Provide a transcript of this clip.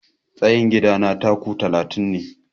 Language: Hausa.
Tsayin gidana 'taku' talatin ne.